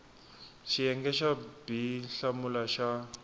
xiyenge xa b hlamula xa